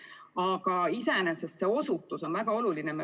Aga iseenesest see osutus on väga oluline.